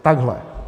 Takhle.